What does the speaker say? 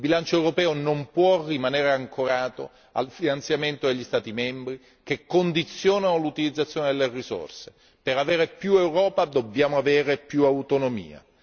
Il bilancio europeo non può rimanere ancorato al finanziamento degli Stati membri che condizionano l'utilizzazione delle risorse. Per avere più Europa dobbiamo avere più autonomia.